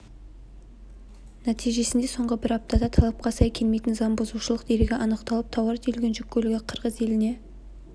нәтижесінде соңғы бір аптада талапқа сай келмейтін заңбұзушылық дерегі анықталып тауар тиелген жүк көлігі қырғыз еліне